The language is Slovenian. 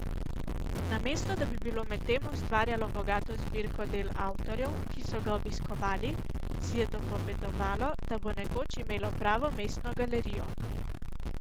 Namesto da bi bilo medtem ustvarjalo bogato zbirko del avtorjev, ki so ga obiskovali, si je dopovedovalo, da bo nekoč imelo pravo mestno galerijo.